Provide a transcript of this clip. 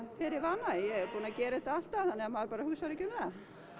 fer í vana ég er búin að gera þetta alltaf þannig maður hugsar ekki um það